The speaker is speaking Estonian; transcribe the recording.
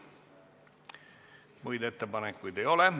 Muid ettepanekuid ei ole.